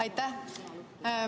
Aitäh!